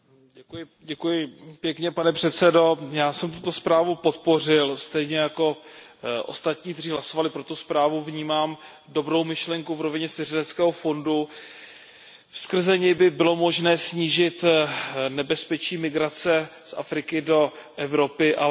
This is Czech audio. Pane předsedající, já jsem tuto zprávu podpořil, stejně jako ostatní, kteří hlasovali pro tu zprávu, vnímám dobrou myšlenku v rovině svěřeneckého fondu, skrze ni by bylo možné snížit nebezpečí migrace z Afriky do Evropy, ale platí to, co tu bylo řečeno.